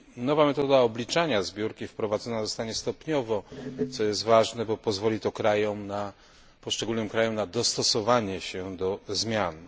Nowa metoda obliczania zbiórki wprowadzona zostanie stopniowo, co jest ważne, bo pozwoli to poszczególnym krajom na dostosowanie się do zmian.